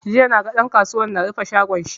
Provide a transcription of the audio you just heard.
Jiya naga ɗan kasuwar na rufe shagon shi.